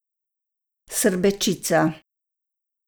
Srbečica.